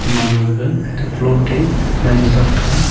aman ma gag flot te jaji thok taga.